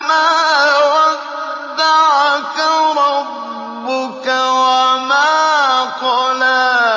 مَا وَدَّعَكَ رَبُّكَ وَمَا قَلَىٰ